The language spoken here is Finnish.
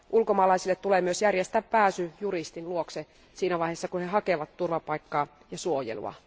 Ulkomaalaisille tulee myös järjestää pääsy juristin luokse siinä vaiheessa, kun he hakevat turvapaikkaa ja suojelua.